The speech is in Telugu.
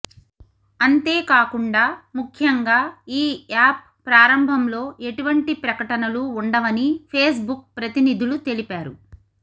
అంతేకాకుండా ముఖ్యంగా ఈ యాప్ ప్రారంభంలో ఎటువంటి ప్రకటనలు ఉండవని ఫేస్బుక్ ప్రతినిధులు తెలిపారు